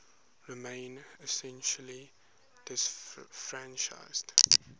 remained essentially disfranchised